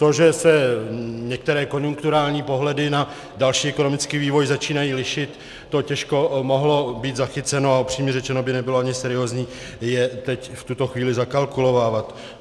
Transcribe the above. To, že se některé konjunkturální pohledy na další ekonomický vývoj začínají lišit, to těžko mohlo být zachyceno, a upřímně řečeno by nebylo ani seriózní je teď v tuto chvíli zakalkulovávat.